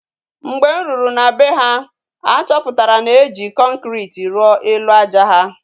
Mgbe m ruru na bee ha, achọpụtara na eji kọnkriti rụọ elu àjà ha